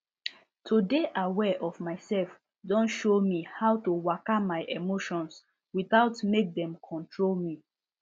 to dey aware of myself don show me how to waka my emotions without mek dem control me